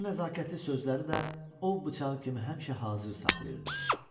O nəzakətli sözləri də ov bıçağı kimi həmişə hazır saxlayırdı.